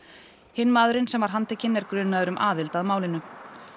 hinn maðurinn sem var handtekinn er grunaður um aðild að málinu